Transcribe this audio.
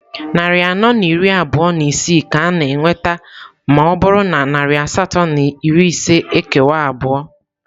Narị anọ na iri abụọ na isii ka a na-enweta ma ọ bụrụ na narị asatọ na iri ise ekewa abụọ.